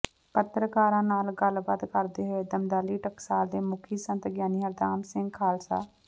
ਪਤਰਕਾਰਾਂ ਨਾਲ ਗਲਬਾਤ ਕਰਦੇ ਹੋਏ ਦਮਦਮੀ ਟਕਸਾਲ ਦੇ ਮੁਖੀ ਸੰਤ ਗਿਆਨੀ ਹਰਨਾਮ ਸਿੰਘ ਖਾਲਸਾ